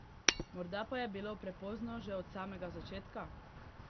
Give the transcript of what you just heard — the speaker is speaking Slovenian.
Morda pa je bilo prepozno že od samega začetka?